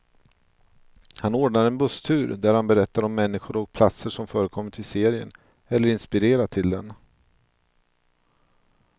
Han ordnar en busstur där han berättar om människor och platser som förekommit i serien, eller inspirerat till den.